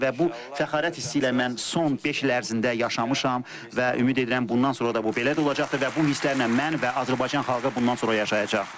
Və bu fəxarət hissi ilə mən son beş il ərzində yaşamışam və ümid edirəm bundan sonra da bu belə də olacaqdır və bu hisslərlə mən və Azərbaycan xalqı bundan sonra yaşayacaq.